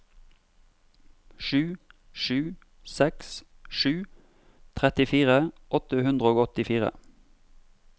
sju sju seks sju trettifire åtte hundre og åttifire